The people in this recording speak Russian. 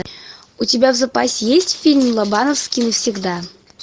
у тебя в запасе есть фильм лобановский навсегда